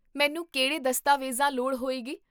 ਮੈਨੂੰ ਕਿਹੜੇ ਦਸਤਾਵੇਜ਼ਾਂ ਲੋੜ੍ਹ ਹੋਏਗੀ?